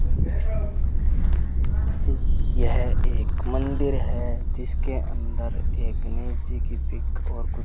यह एक मंदिर है जिसके अंदर एक गणेश जी की पिक और कु --